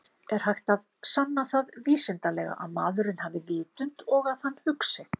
Er hægt að sanna það vísindalega að maðurinn hafi vitund og að hann hugsi?